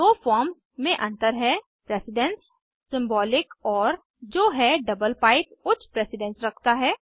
दो फॉर्म्स मे अंतर है प्रेसिडन्स सिंबॉलिक ओर जो है डबल पाइप उच्च प्रेसिडन्स रखता है